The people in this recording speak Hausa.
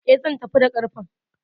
E, zan tafi da ƙarfen.